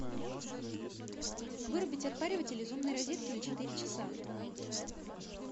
вырубить отпариватель из умной розетки на четыре часа